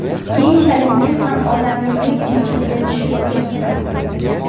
Keyinchalik men ham odamligim esimga tushib ketdi.